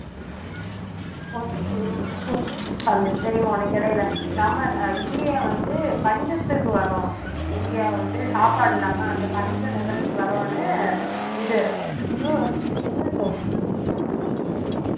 வந்து தெரியுமா உனக்கு இடையில நம்ம இந்தியா வந்து பஞ்சத்துக்கு வர்றோம் இந்தியா வந்து சாப்பாடு இல்லாம அந்த பஞ்ச நிலைமைக்கு வர்றோன்னு இது USUSO ஐயா என்னது US ஆ